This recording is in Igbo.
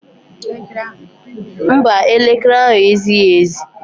Mba, elekere ahụ ezighi ezi.